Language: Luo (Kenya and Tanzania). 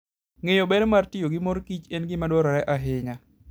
Ng'eyo ber mar tiyo gi mor kich en gima dwarore ahinya.